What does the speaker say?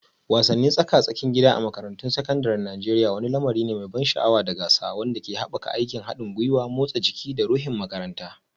Wasannin tsaka-tsakin gida a makarantun sakandaren Najeriya wani lamari ne mai ban sha'awa da gasa wanda ke haɓaka aikin haɗin gwiwa, motsa jiki, da ruhun makaranta.